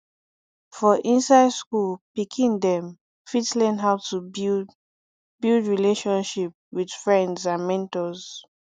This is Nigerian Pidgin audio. for inside school pikin dem fit learn how to build build relatiomship with friends and mentors